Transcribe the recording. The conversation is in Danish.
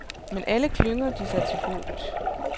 Men alle klynger de sig til håbet.